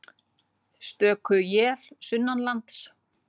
Stöku él sunnanlands